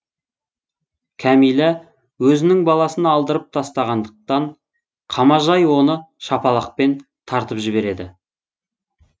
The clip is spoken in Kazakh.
кәмила өзінің баласын алдырып тастағандықан қамажай оны шапалақпен тартып жібереді